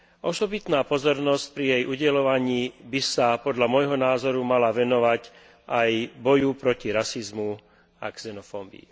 Osobitná pozornosť pri jej udeľovaní by sa podľa môjho názoru mala venovať aj boju proti rasizmu a xenofóbii.